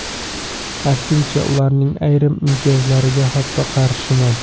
Aksincha, ularning ayrim imtiyozlariga hatto qarshiman.